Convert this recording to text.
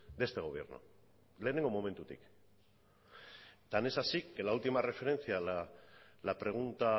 de este gobierno lehenengo momentutik tan es así que la última referencia la pregunta